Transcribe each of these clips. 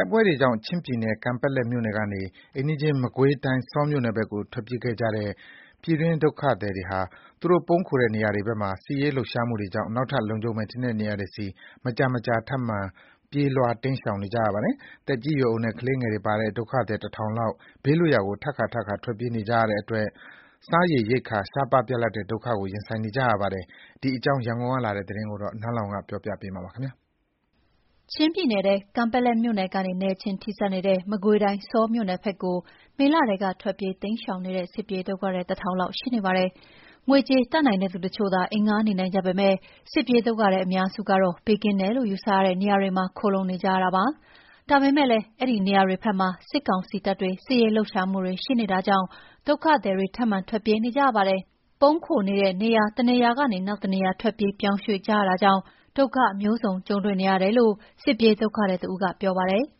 က်ပွဲတွေကြောင့် ချင်းပြည်နယ် ကန်ပက်လက်မြို့နယ်ကနေ အိမ်နီးချင်း မကွေးတိုင်းဆောမြို့နယ်ဘက်ကို ထွက်ပြေးခဲ့ကြတဲ့ ပြည်တွင်းဒုက္ခသည်တွေဟာ သူတို့ပုန်းခိုတဲ့နေရာတွေဘက်မှာ စစ်ရေးလှုပ်ရှားမှုတွေကြောင့် နောက်ထပ်လုံခြုံမယ်ထင်တဲ့ နေရာတွေဆီ မကြာမကြာ ထပ်မံပြေးလွှား ရှောင်တိမ်းနေကြရပါတယ်။ သက်ကြီး ရွယ်အိုနဲ့ ကလေးငယ်တွေပါတဲ့ ဒုက္ခသည် ၁,၀၀၀ လောက် ဘေးလွတ် ရာကို ထပ်ခါ ထပ်ခါ ထွက်ပြေးနေကြရတဲ့အတွက် စားရေရိက္ခာရှားပါး ပြတ်လပ်တဲ့ ဒုက္ခကို ရင်ဆိုင်နေကြရပါတယ်။ ဒီအကြောင်း ရန်ကုန်ကလာတဲ့သတင်းကို နန်းလောဝ်က တင်ပြပေးထားပါတယ်။ ချင်းပြည်နယ် ကန်ပက်လက်မြို့နယ်နဲ့ နယ်ချင်းထိဆက်နေတဲ့ မကွေးတိုင်း ဆောမြို့နယ်ဘက်မှာ မေလထဲက ထွက်ပြေးတိမ်းရှောင်နေတဲ့ စစ်ပြေးဒုက္ခသည် ၁,၀၀၀ လောက်ရှိနေပါတယ်။ ငွေကြေးတတ်နိုင်တဲ့သူတချို့သာ အိမ်ငှားနေနိုင်ကြပေမယ့် စစ်ပြေးဒုက္ခသည် အများစုကတော့ ဘေးကင်းတယ်လို့ ယူဆရတဲ့ နေရာတွေမှာ ခိုလှုံနေထိုင်နေကြရပါတယ်။ ဒါပေမယ့်လည်း အဲဒီနေရာတွေဘက် မှာ စစ်ကောင်စီတပ်တွေ စစ်ရေးလှုပ်ရှားမှုတွေရှိနေတာကြောင့် ဒုက္ခသည်တွေ ထပ်မံထွက်ပြေးနေကြရပါတယ်။ ပုန်းခိုနေတဲ့ နေရာတနေရာကနေ နောက်တနေရာ ထွက်ပြေးပြောင်းရွှေ့ကြရတာကြောင့် ဒုက္ခမျိုးစုံကြုံတွေ့ နေရတယ်လို့ စစ်ပြေးဒုက္ခသည်တဦးက ပြောပါတယ်။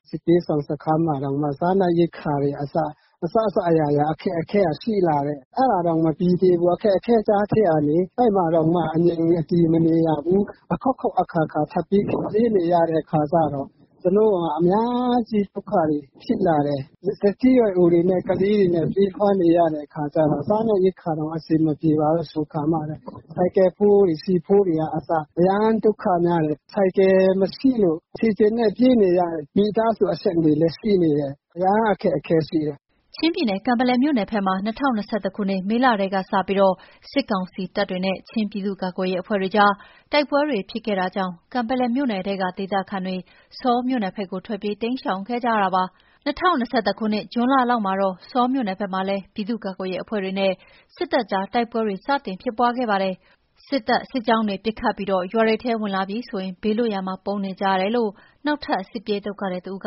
“စစ်ပြေးရှောင်စခန်းမှာတောင်မှ စားနပ်ရိက္ခာတွေအစ အစစအရာရာ အခက်အခဲက ရှိလာတယ်။ အဲ့ဒါတောင် မပြီးသေးဘူး။ အခက်အခဲကြားထဲကနေ အဲ့မှာတောင်မှ အငြိမ် အတည်မနေရဘူး။ အခေါက်ခေါက် အခါခါ ထပ်ပြေးနေရတဲ့အခါကျတော့ ကျနော်တို့က ဒုက္ခတွေ အများကြီးဖြစ်လာတယ်။ အသက်ကြီးရွယ်အိုတွေနဲ့ ကလေးတွေနဲ့ ပြေးလွှားနေရတဲ့အခါကျတော့ စားနပ်ရိက္ခာတောင် အဆင်မပြေပါဘူးဆိုခါမှ ဆိုင်ကယ်ဖိုးတွေ ဆီဖိုးတွေအစ အရမ်းဒုက္ခများတယ်။ ဆိုင်ကယ်မရှိလို့ ခြေလျင်နဲ့ ပြေးနေရတဲ့ မိသားစုတွေလည်း ရှိနေတယ်။ အရမ်းအခက်အခဲရှိတယ်။” ချင်းပြည်နယ် ကန်ပက်လက်မြို့နယ်ဘက်မှာ ၂၀၂၁ ခုနှစ် မေလထဲကပြီး စစ်ကောင်စီတပ်တွေနဲ့ ချင်းပြည်သူ့ကာကွယ်ရေးအဖွဲ့တွေကြား တိုက်ပွဲတွေဖြစ်ခဲ့တာကြောင့် ကန်ပက်လက်မြို့နယ်ထဲက ဒေသခံတွေ ဆောမြို့နယ်ဘက်ကို ထွက်ပြေး တိမ်းရှောင်ခဲ့ကြတာပါ။ ၂၀၂၁ ခုနှစ် ဇွန်လလောက်မှာတော့ ဆောမြို့နယ်ဘက်မှာလည်း ပြည်သူကာကွယ်ရေးအဖွဲ့တွေနဲ့ စစ်တပ်ကြား တိုက်ပွဲတွေ စတင်ဖြစ်ခဲ့ပါတယ်။ အခုဆို စစ်တပ် စစ်ကြောင်းတွေက ပစ်ခတ်ပြီး ရွာတွေထဲ ဝင်လာပြီဆိုရင် ဘေးလွတ်ရာမှာ ပုန်းနေကြရတယ်လို့ နောက်ထပ် စစ်ပြေးဒုက္ခသည်တဦးက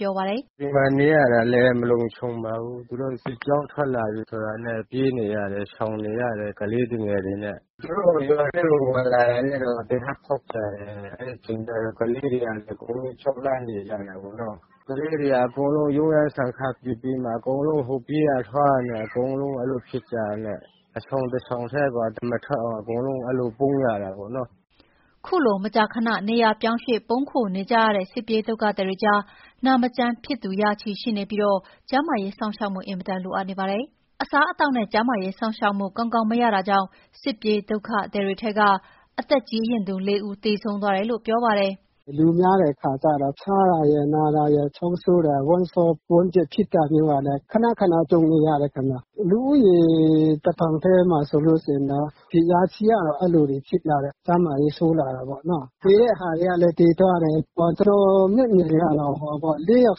ပြောပါတယ်။ “ဒီမှာနေရတာလည်း မလုံခြုံပါဘူး။ သူတို့ စစ်ကြောင်းထွက်လာပြီဆိုတာနဲ့ ပြေးနေရတယ်၊ ရှောင်နေရတယ်။ ကလေးသူငယ်တွေနဲ့၊ သူတို့က ရွာထဲကို ဝင်လာတာနဲ့ သေနတ်ဖောက်ချတယ်။ အဲ့ဒီအချိန်ကျရင် ကလေးတွေက အကုန်လုံးကြောက် လန့်နေကြတာပေ့ါနော်။ ကလေးတွေက အကုန်လုံး ရုန်ရင်းဆန်ခတ်ဖြစ်ပြီးမှ အကုန်လုံး ပြေးရ လွှားရနဲ့ အဲ့လိုဖြစ်ကြတာနဲ့ အဆောင်တဆောင်ထဲကို အသံမထွက်အောင် အကုန် အဲ့လိုပုန်းရတာပေါ့နော်။” အခုလို မကြာခဏ နေရာပြောင်းရွှေ့ ပုန်းခိုနေကြရတဲ့ စစ်ပြေးဒုက္ခသည်တွေကြား နာမကျန်းဖြစ်သူ ရာချီရှိနေပြီး ကျန်းမာရေးစောင့်ရှောက်မှု အင်မတန်လိုအပ်နေကြပါတယ်။ အစားအသောက်နဲ့ ကျန်းမာရေးစောင့်ရှောက်မှု ကောင်းကောင်းမရရှိလို့ စစ်ပြေးဒုက္ခသည်ထဲက အသက်ကြီးရင်းသူ ၄ ဦး သေဆုံးသွားတယ်လို့ ပြောပါတယ်။ “လူများတဲ့အခါကျတော့ ဖျားတာရယ် နာတာရယ်၊ ချောင်းဆိုးတာ၊ ဝမ်းလျောဝမ်းပျက်ဖြစ်တာမျိုးကလည်း ခဏခဏကြုံနေရတယ်ခင်ဗျ။ လူဦးရေ တထောင်ထဲမှာဆိုလို့ရှိရင် ရာချီက အဲ့လိုတွေ ဖြစ်ကြတယ်။ ကျန်းမာရေးဆိုးလာတယ်ပေ့ါနော်။ သေတဲ့ဟာတွေကလည်း သေသွားတယ်၊ ကျနော်မျက်မြင်ကတော့ ၄ ယောက်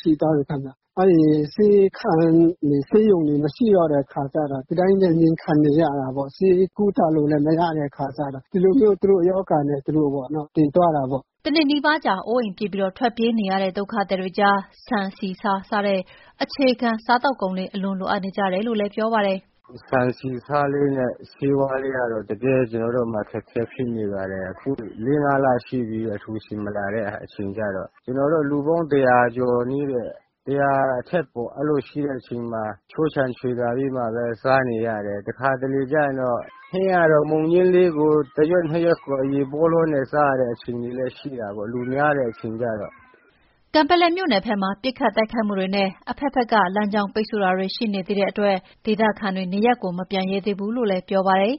ရှိသွားပြီ ခင်ဗျ။ အဲ့ဒီမှာ ဆေးခန်းတွေ ဆေးရုံတွေ မရှိတော့တဲ့အခါကျတော့ ဒီတိုင်းပဲငြိမ်ခံနေရတာပေါ့။ ဆေးကုသလို့လည်း မရတဲ့အခါကျတော့ သူတို့ရောဂါနဲ့ သူတို့ပေါ့နော် သေသွားတယ်ပေါ့။” ၁ နှစ်နီးပါးကြာ အိုးအိမ်ပြစ်ထွက်ပြေးနေကြရတဲ့ စစ်ပြေးဒုက္ခသည်အတွက် ဆန်၊ဆီ၊ဆား စတဲ့ အခြေခံစားသောက်ကုန်တွေ အလွန်လိုအပ်နေကြတယ်လို့လည်း ပြောပါတယ်။ “ဆန်၊ ဆီ၊ ဆားလေးနဲ့ ဆေးဝါးလေးကတော့ တကယ် ကျနော်တို့မှာ အခက်အခဲဖြစ်နေပါတယ်။ အခု ၄၊ ၅ လ ရှိပြီး အလှူရှင်မလာတဲ့အချိန်ကျတော့ ကျနော်တို့ လူပေါင်း ၁၀၀ ကျော်လေ၊ ၁၀၀ အထက်ပေါ့ အဲ့လိုရှိတဲ့ အချိန်မှာ ခြိုးခြံချွေတာ ပြီးမှပဲ စားနေရတယ်။ တခါတလေကျရင်တော့ ဟင်းကတော့ မုန်ညှင်းလေးတရွက် နှစ်ရွက်ကို ရေပေါလောနဲ့ စားရတဲ့အချိန်တွေလည်း ရှိတာပေါ့၊ လူများတဲ့အချိန် ကျတော့ အဲ့လိုလေးတွေ တော်တော်လေး အခက်အခဲရှိတယ်။” ကန်ပက်လက်မြို့နယ်ဘက်မှာ ပစ်ခတ်တိုက်ခိုက်မှုတွေနဲ့ အဘက်ဘက်က လမ်းကြောင်းပိတ်ဆို့မှုတွေ အခုချိန်ထိ ဆက်ရှိနေတာမို့ ဒေသခံတွေဟာ နေရပ်ကို မပြန်ရဲကြသေးဘူးလို့ ပြောကြပါတယ်။